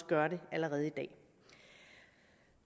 gør det allerede i dag